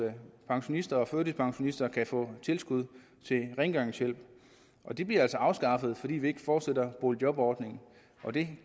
pensionister og førtidspensionister kan få tilskud til rengøringshjælp det bliver altså afskaffet fordi vi ikke fortsætter boligjobordningen og det